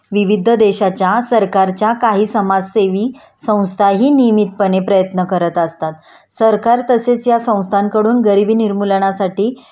विविध देशाच्या सरकारच्या काही समाजसेवी संस्थाही नियमितप्रणे प्रयत्न करत असतात.सरकार तसेच या संस्थांकडून गरिबी निर्मूलनासाठी